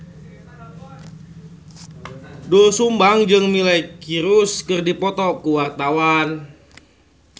Doel Sumbang jeung Miley Cyrus keur dipoto ku wartawan